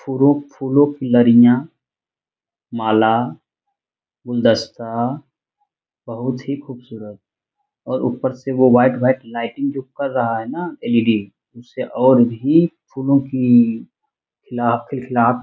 फूलो-फूलों की लड़ियाँ माला गुलदस्ता बहुत ही खूबसूरत और ऊपर से वो वाइट लाइटिंग जो कर रहा है न एल.ई.डी. उससे और भी फूलों की खिला खिलखिलाहट --